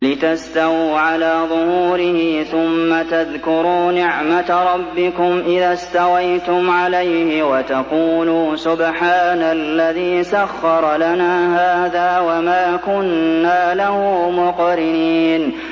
لِتَسْتَوُوا عَلَىٰ ظُهُورِهِ ثُمَّ تَذْكُرُوا نِعْمَةَ رَبِّكُمْ إِذَا اسْتَوَيْتُمْ عَلَيْهِ وَتَقُولُوا سُبْحَانَ الَّذِي سَخَّرَ لَنَا هَٰذَا وَمَا كُنَّا لَهُ مُقْرِنِينَ